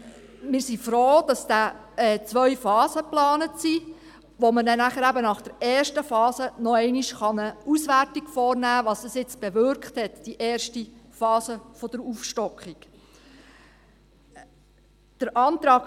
Wir sind froh, dass zwei Phasen geplant sind, sodass man eben nach der ersten Phase noch einmal eine Auswertung vornehmen kann, was die erste Phase der Aufstockung nun bewirkt habe.